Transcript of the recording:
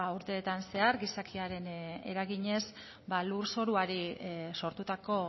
urteetan zehar gizakiaren eraginez lurzoruari sortutako